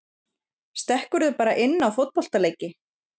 Stekkurðu bara inn á fótboltaleiki?